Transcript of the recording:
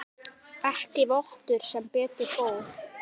Ekki vottur sem betur fór.